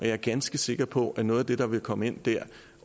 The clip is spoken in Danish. jeg ganske sikker på at noget af det der vil komme ind dér